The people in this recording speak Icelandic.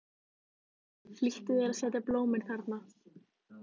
Flýttu þér að setja blómin þarna.